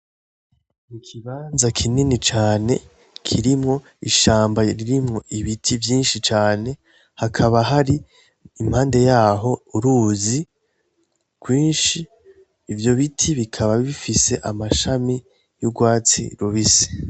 Ikibanza kinini cane kirimwo ishamba ririmwo ibiti vyinshi cane hakaba hari impande yaho uruzi gwinshi ivyo biti bikaba bifise amashami y'ugwatsi rubisi.